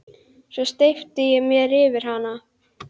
Svo steypti ég mér yfir hana.